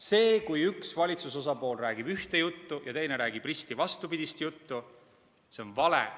See, kui üks valitsuse osapool räägib ühte juttu ja teine räägib risti vastupidist juttu, on vale.